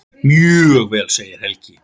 Mjög vel segir Helgi.